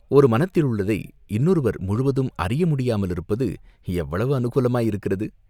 ஒரு மனத்திலுள்ளதை இன்னொருவர் முழுதும் அறிய முடியாமலிருப்பது எவ்வளவு அநுகூலமாயிருக்கிறது?